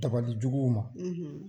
dabalijugu ma.